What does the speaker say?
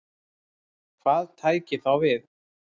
Hvað tæki þá við?